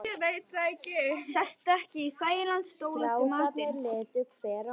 Sestu ekki í þægilegan stól eftir matinn.